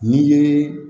N'i ye